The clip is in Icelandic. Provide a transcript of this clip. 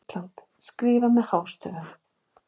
ÍSLAND og skrifað með hástöfum.